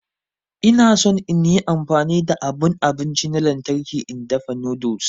Ina son in yi amfani da abun abinci na lantarki in dafa noodles.